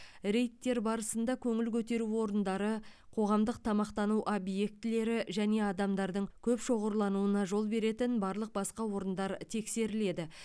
рейдтер барысында көңіл көтеру орындары қоғамдық тамақтану объектілері және адамдардың көп шоғырлануына жол беретін барлық басқа орындар тексеріледі